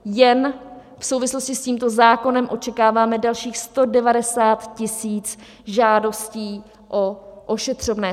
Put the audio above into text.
Jen v souvislosti s tímto zákonem očekáváme dalších 190 tisíc žádostí o ošetřovné.